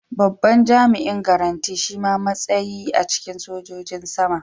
Babban jami'in garanti shima matsayi a cikin sojojin sama.